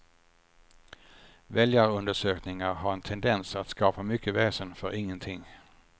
Väljarundersökningar har en tendens att skapa mycket väsen för ingenting.